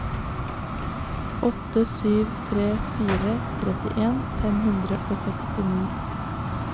åtte sju tre fire trettien fem hundre og sekstini